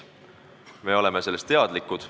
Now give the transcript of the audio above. Me oleme sellest teadlikud.